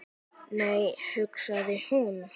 Nei, hugsaði hún.